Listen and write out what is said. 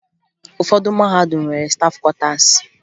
Ụfọdụ mahadum nwere stafụ kwọtaasi